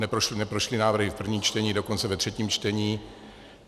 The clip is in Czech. Neprošly návrhy v prvním čtení, dokonce ve třetím čtení.